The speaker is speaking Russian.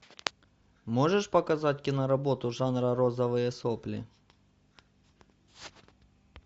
можешь показать киноработу жанра розовые сопли